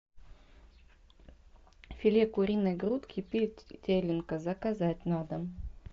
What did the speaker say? филе куриной грудки петелинка заказать на дом